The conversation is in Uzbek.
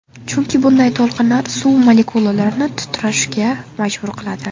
Chunki bunday to‘lqinlar suv molekulalarini titrashga majbur qiladi.